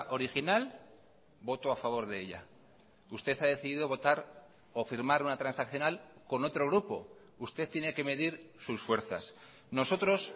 original voto a favor de ella usted ha decidido votar o firmar una transaccional con otro grupo usted tiene que medir sus fuerzas nosotros